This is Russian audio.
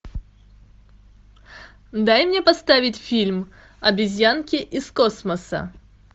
дай мне поставить фильм обезьянки из космоса